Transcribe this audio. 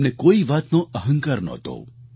તેમને કોઈ વાતનો અહંકાર નહોતો